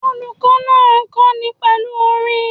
Olùkó náà n kóni pèlú orin